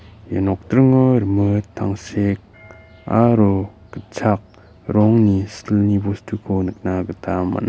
ia nokdringo rimit tangsek aro gitchak rongni silni bostuko nikna gita man·a.